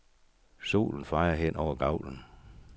Solen fejer hen over gavlen.